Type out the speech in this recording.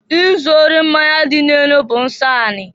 Izụ ori mmanya dị n'enu bụ nsọ anị.